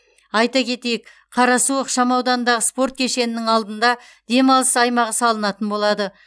айта кетейік қарасу ықшамауданындағы спорт кешенінің алдында демалыс аймағы салынатын болады